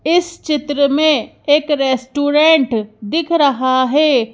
इस चित्र में एक रेस्टोरेंट दिख रहा है।